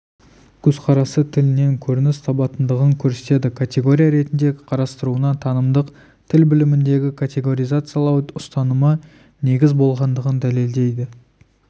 көзқарасы тілінен көрініс табатындығын көрсетеді категория ретінде қарастыруына танымдық тіл біліміндегі категоризациялау ұстанымы негіз болғандығын дәлелдейді